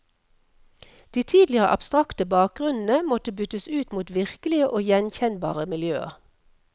De tidligere abstrakte bakgrunnene måtte byttes ut mot virkelige og gjenkjenbare miljøer.